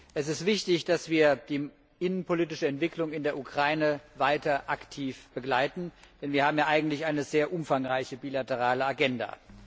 Es ist wichtig, dass wir die innenpolitische Entwicklung in der Ukraine weiter aktiv begleiten, denn wir haben ja eigentlich eine sehr umfangreiche bilaterale Agenda.